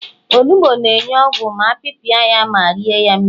onugbu na-enye ogwu ma apiapia ya ma rie ya mmiri